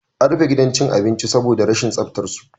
An rufe gidan cin abincin saboda rashin tsaftar su